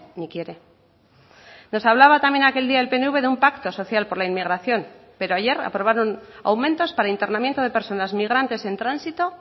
ni quiere nos hablaba también aquel día el pnv de un pacto social por la inmigración pero ayer aprobaron aumentos para internamiento de personas migrantes en tránsito